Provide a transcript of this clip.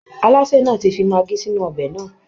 Alásè náà ti fi maggi sínú ọbẹ̀ náà